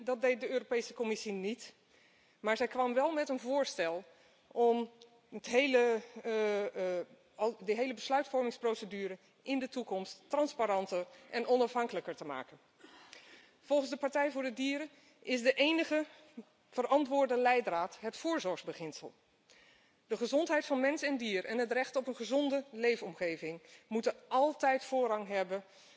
verbieden, dat deed de Europese Commissie niet, maar ze kwam wel met een voorstel om de hele besluitvormingsprocedure in de toekomst transparanter en onafhankelijker te maken. Volgens de Partij voor de Dieren is de enige verantwoorde leidraad het voorzorgsbeginsel. De gezondheid van mens en dier en het recht op een gezonde leefomgeving moeten altijd voorrang hebben